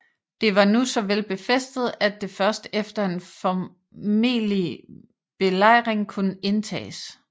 Det var nu så vel befæstet at det først efter en formelig belejring kunne indtages